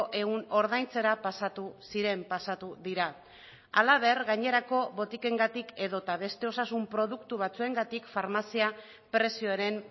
ehun ordaintzera pasatu ziren pasatu dira halaber gainerako botikengatik edota beste osasun produktu batzuengatik farmazia prezioaren